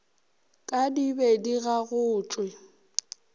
ka di be di gagotšwe